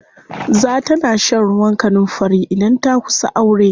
Za ta na shan ruwan kanunfari idan ta kusa aure.